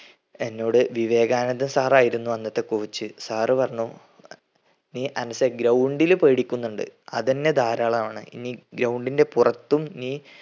എന്നോട് വിവേകാനന്ദ sir ആയിരുന്നു അന്നത്തെ coach sir പറഞ്ഞു നീ അനസെ ground ൽ പേടിക്കുന്നുണ്ട്. അതന്നെ ധാരാളാണ്. നീ ground ൻ്റെ പുറത്തും നീ